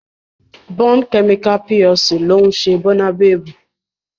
Bond Chemical PLC ló ń ṣe Bónabebu